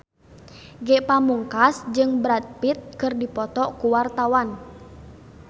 Ge Pamungkas jeung Brad Pitt keur dipoto ku wartawan